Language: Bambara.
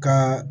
Ka